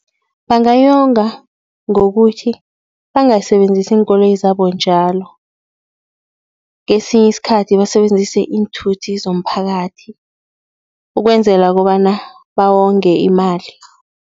Bangayonga ngokuthi bangasebenzisi iinkoloyi zabo njalo. Kesinye isikhathi basebenzise iinthuthi zomphakathi ukwenzela kobana bawonge imali.